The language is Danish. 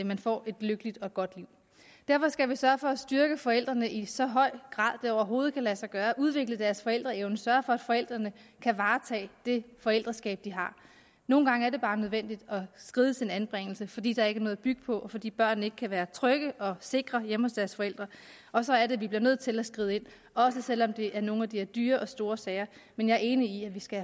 man får et lykkeligt og godt liv derfor skal vi sørge for at styrke forældrene i så høj grad det overhovedet kan lade sig gøre og udvikle deres forældreevne og sørge for at forældrene kan varetage det forældreskab de har nogle gange er det bare nødvendigt at skride til en anbringelse fordi der ikke er noget at bygge på fordi børnene ikke kan være trygge og sikre hjemme hos deres forældre og så er det at vi bliver nødt til at skride ind også selv om det er nogle af de her dyre og store sager men jeg er enig i at vi skal